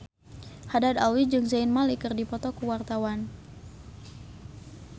Haddad Alwi jeung Zayn Malik keur dipoto ku wartawan